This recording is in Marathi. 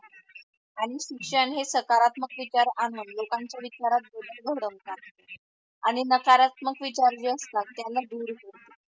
आणि शिक्षण हे सकारात्मक विचार आणून लोकांच्या विचारत बदल घडवतात आणि नकारात्मक विचार जे असतात त्याला दूर सोडतात.